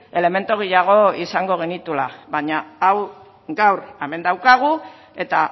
elementu gehiago izango genituela baina hau gaur hemen daukagu eta